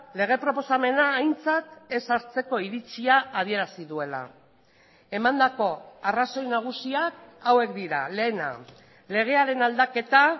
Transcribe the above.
lege proposamena aintzat ez hartzeko iritzia adierazi duela emandako arrazoi nagusiak hauek dira lehena legearen aldaketa